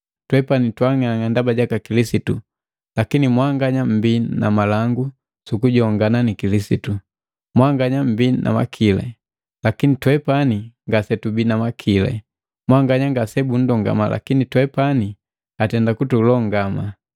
Twepani twa ang'ang'a ndaba jaka Kilisitu, lakini mwanganya mmbii na malangu sukujongana na Kilisitu! Mwanganya mbii na makili, lakini twepani ngasetubii na makili. Mwanganya ngasebundongama lakini twepani atenda kutulongama.